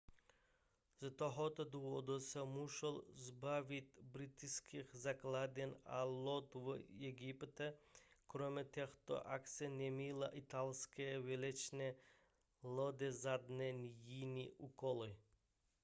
z tohoto důvodu se museli zbavit britských základen a lodí v egyptě kromě těchto akcí neměly italské válečné lodě žádné jiné úkoly